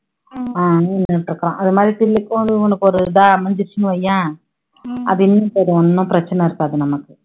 அது மாதிரி இவனுக்கும் ஒரு இதா அமைஞ்சுடுச்சுன்னு வைய்யேன் அது ஒண்ணும் பிரச்சனை இருக்காது நமக்கு